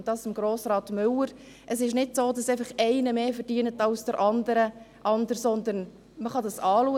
An Grossrat Müller: Es ist nicht so, dass einfach einer mehr verdient als der andere, sondern man kann dies anschauen.